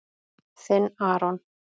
Þinn, Aron.